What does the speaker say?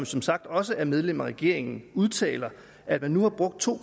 som sagt også er medlem af regeringen udtaler at man nu har brugt to